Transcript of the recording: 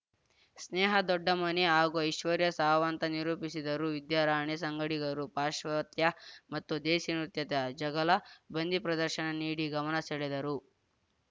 ಸ್ನೇಹಾ ದೊಡ್ಡಮನಿ ಹಾಗೂ ಐಶ್ವರ್ಯ ಸಾವಂತ ನಿರೂಪಿಸಿದರು ವಿದ್ಯಾರಾಣಿ ಸಂಗಡಿಗರು ಪಾಶ್ವಾತ್ಯ ಮತ್ತು ದೇಸಿ ನೃತ್ಯದ ಝಗಲ ಬಂದಿ ಪ್ರದರ್ಶನ ನೀಡಿ ಗಮನ ಸೆಳೆದರು